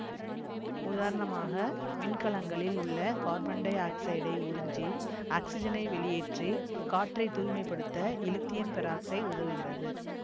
உதாரணமாக விண்கலங்களில் உள்ள கார்பன் டை ஆக்சைடை உறிஞ்சி ஆக்சிசனை வெளியேற்றி காற்றைத் தூய்மை படுத்த இலித்தியம் பெராக்சைடு உதவுகிறது